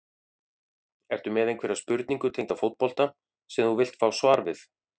Ertu með einhverja spurningu tengda fótbolta sem þú vilt fá svar við?